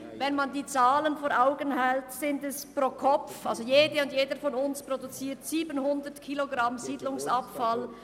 Hält man sich die Zahlen vor Augen, produziert jeder von uns jährlich 700 Kilogramm Siedlungsabfall.